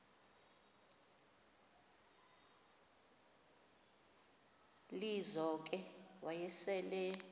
lizo ke wayesel